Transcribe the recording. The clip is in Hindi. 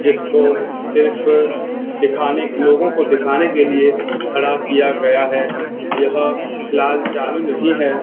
जिसको सिर्फ दिखाने लोगो को दिखाने के लिए खड़ा किया गया है यह फ़िलाल चालू नहीं है।